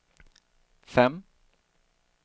fem